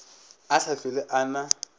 a sa hlwele a na